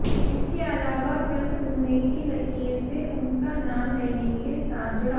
इसके अलावा फिल्म धुएं की लकीर से उनका नाम डैनी के साथ जुड़ा